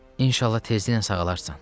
İnşallah tezliklə sağalarsan.